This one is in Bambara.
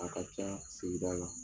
A ka ca sigida la.